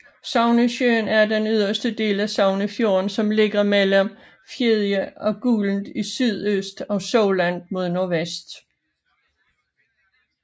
Sognesjøen er den yderste del af Sognefjorden som ligger mellem Fedje og Gulen i sydøst og Solund mod nordvest